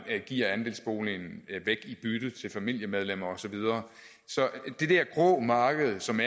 giver andelsboligen væk i bytte til familiemedlemmer og så videre så det der grå marked som